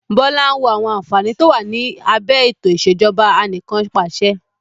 Bọlá ń wo àwọn àǹfààní to wá ní abẹ ètò ìsèjọba anìkanpàṣẹ.